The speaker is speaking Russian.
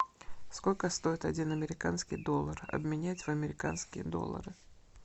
сколько стоит один американский доллар обменять в американские доллары